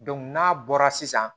n'a bɔra sisan